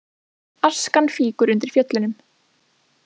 Askan fýkur undir Fjöllunum